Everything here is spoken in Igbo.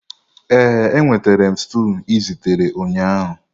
Ee, enwetara m stew ị zitere ụnyaahụ.